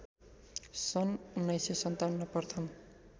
सन् १९५७ प्रथम